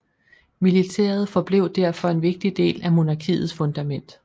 Militæret forblev derfor en vigtig del af monarkiets fundament